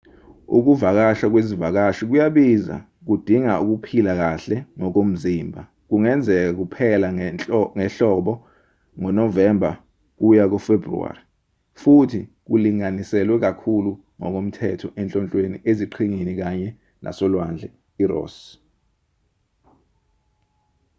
ukuvakasha kwezivakashi kuyabiza kudinga ukuphila kahle ngokomzimba kungenzeka kuphela ngehlobo ngonovemba kuya kufebhruwari futhi kulinganiselwe kakhulu ngokomthetho enhlonhlweni eziqhingini kanye nasolwandle iross